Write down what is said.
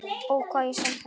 Ó, hvað ég sakna þín.